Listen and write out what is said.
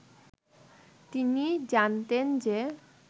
তিনি জানতেন যে